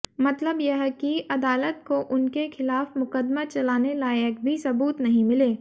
मतलब यह कि अदालत को उनके खिलाफ मुकदमा चलाने लायक भी सबूत नहीं मिले